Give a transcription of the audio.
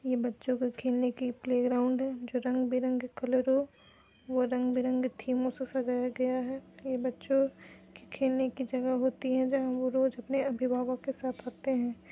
ये बच्चो के खेलने के प्लेग्राउंड है जो रंग बिरंगे कलरों व रंग बिरगें थीमो से सजाया गया है। ये बच्चो के खेलने की जगह होती है जहाँ वो रोज अपने अविभावक के साथ आते हैं।